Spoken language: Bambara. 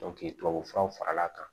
tubabu furaw fara l'a kan